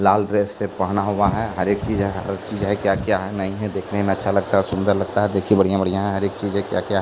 लाल प्रेस से पहना हुआ है हर एक चीज है चीज है केया केया है नहीं है देखने में अच्छा लगता है सुंदर लगता है देखिए बड़िया बड़िया है हर एक चीज है कया कया ।